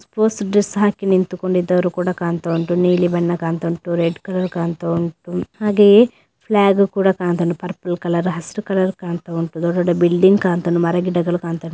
Bus dress ಹಾಕಿಕೊಂಡು ನಿಂತಿರುವವರು ಕಾಣ್ತಾ ಉಂಟು ಹಾಗೆ ನೀಲಿ ಬಣ್ಣದ ಬಟ್ಟೆ ಕಾಣ್ತಾ ಉಂಟು ಹಾಗೆ ಬ್ಲಾಗು ಕೂಡ ಕಾಣ್ತಾ ಉಂಟು ಪರ್ಪಲ್ ಕಲರ್ ಹಸಿರು ಕಲರ್ ಕಾಣ್ತಾ ಉಂಟು.